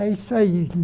É isso aí.